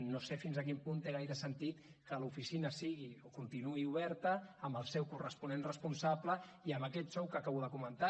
no sé fins a quin punt té gaire sentit que l’oficina sigui o continuï oberta amb el seu corresponent responsable i amb aquest sou que acabo de comentar